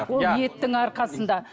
ол еттің арқасында